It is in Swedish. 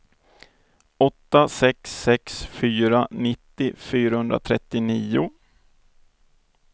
åtta sex sex fyra nittio fyrahundratrettionio